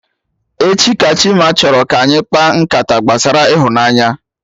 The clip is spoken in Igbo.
Echi ka Chima chọrọ ka anyị kpaa nkata gbasara ịhụnanya